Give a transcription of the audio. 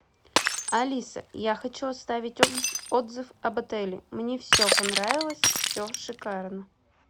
алиса я хочу оставить отзыв об отеле мне все понравилось все шикарно